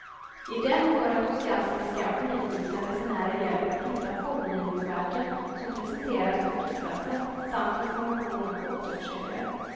I den får entusiastiska och nyfikna resenärer hjälp att hitta formgivningsverken som presenteras på flygplatsen samt information om återförsäljare.